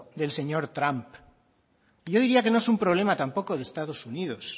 del señor trump y yo diría que no es un problema tampoco de estado unidos